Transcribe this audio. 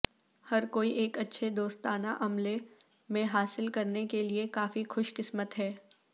ہر کوئی ایک اچھے دوستانہ عملے میں حاصل کرنے کے لئے کافی خوش قسمت ہے